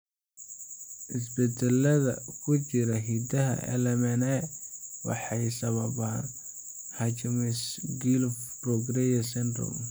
Isbeddellada ku jira hiddaha LMNA waxay sababaan Hutchinson Gilford progeria syndrome.